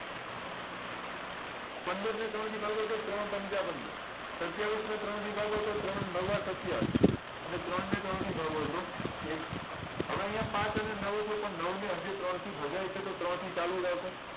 પંદરને ત્રણથી ભાગોતો ત્રણ પંચા પંદર સત્યાવીશને ત્રણ વડે ભાગોતો ત્રણ નવા સત્યાવીશ અને ત્રણને ત્રણથી ભાગોતો એક હવે આયા પાંચ અને નવ છે પણ નવને હજી ત્રણથી ભગાય છે તો ત્રણથી ચાલુ રાખો